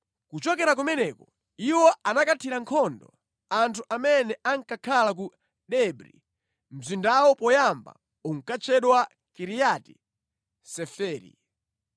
Kuchokera kumeneko, iwo anakathira nkhondo anthu amene ankakhala ku Debri (mzindawu poyamba unkatchedwa Kiriati Seferi).